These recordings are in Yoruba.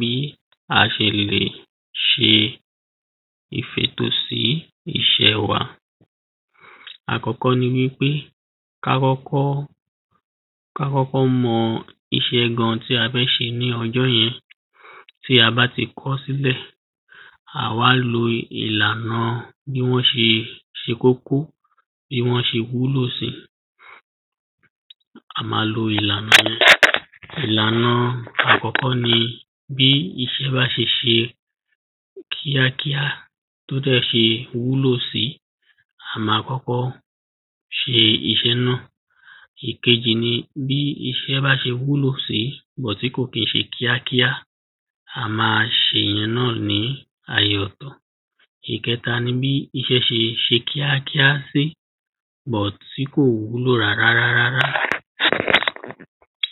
bí a ṣe lè ṣe ìfètò sí iṣẹ́ wa àkọ́kọ́ ni wípé ká kọ́kọ́, ká kọ́kọ́ mọ iṣẹ́ gan tí a fẹ́ ṣe níjọ́ yẹn bí a bá ti kọ́ọ sílẹ̀, à wá lo ìlànà bí wọ́n ṣe kókó bí wọ́n se wúlò sí a ma lo ìlànà yẹn. ìlànà àkọ́kọ́ ní bí iṣẹ́ bá ṣe ṣe kíákíá tó dẹ́ ṣe wúlò sí, a ma kọ́kọ́ ṣe iṣẹ́ náà. ìkejì ni bí iṣẹ́ bá ṣe wúlò bọ̀t tí kò kín ṣe kíakíá, a ma ṣe ìyẹn náà ní àyè ọ̀tọ̀ ìketa ní bí iṣẹ́ ṣe ṣe kíákíá sí bọ̀t tí kò wúlò rárárá,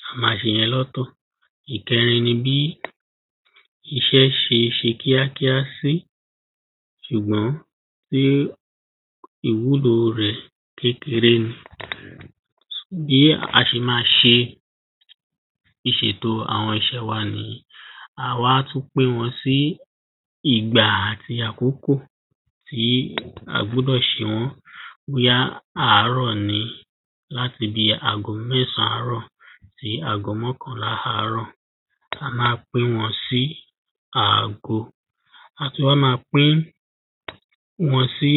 a ma ṣe yẹn lọ́tọ̀ ìkẹrin ni bí iṣẹ́ ṣe ṣe kíakíá sí ṣùgbọ́n pé ìwúlò rẹ̀ kékeré ni sò bí a ṣe ma ṣe ìṣètò àwọn iṣẹ́ wa nìyìí à wá tún pín wọ́n sí ìgbà àti àkókò tí a gbúdọ̀ ṣe wọ́n bóyá àárọ̀ ni láti bíi ago mẹ́sàn-án àárọ̀ sí ago mọ́kànlá àárọ̀ tá má pín wọ́n sí ago, a tún wá ma pín wọ́n sí